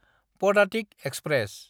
Padatik express